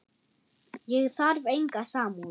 Ég þarf enga samúð.